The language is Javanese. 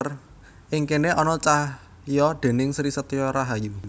Ing kéné ana cahya déning Sri Setyo Rahayu